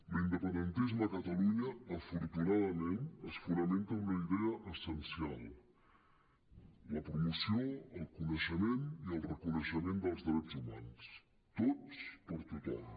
l’independentisme a catalunya afortunadament es fonamenta en una idea essen·cial la promoció el coneixement i el reconeixement dels drets humans tots per a tot·hom